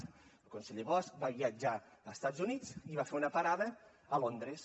el conseller bosch va viatjar a estats units i va fer una parada a londres